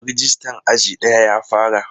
Rajistan aji daya ya fara.